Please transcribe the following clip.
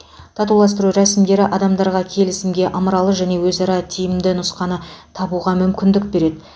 татуластыру рәсімдері адамдарға келісімге ымыралы және өзара тиімді нұсқаны табуға мүмкіндік береді